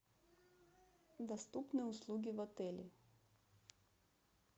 доступные услуги в отеле